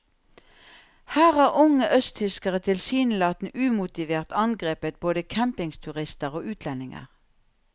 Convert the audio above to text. Her har unge østtyskere tilsynelatende umotivert angrepet både campingturister og utlendinger.